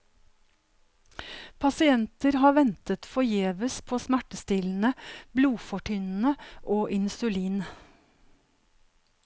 Pasienter har ventet forgjeves på smertestillende, blodfortynnende og insulin.